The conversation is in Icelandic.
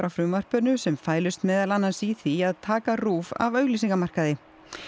frumvarpinu sem fælust meðal annars í því að taka RÚV af auglýsingamarkaði